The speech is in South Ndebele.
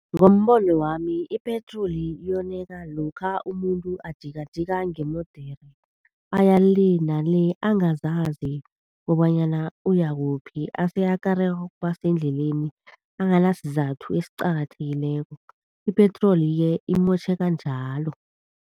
Ngombono wami ipetroli yoneka lokha umuntu akajikajika ngeemodere, aya le na le, angazazi kobanyana uyakuphi. Ase akarwe kubasendleleni, angana sizathu esiqakathekileko. Ipetroli-ke imotjheka njalo.